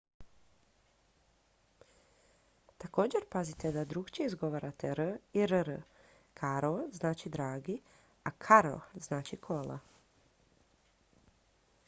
također pazite da drukčije izgovarate r i rr caro znači dragi a carro znači kola